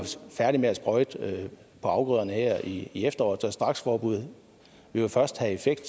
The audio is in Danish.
færdig med at sprøjte afgrøderne her i i efteråret så et straksforbud vil jo først få effekt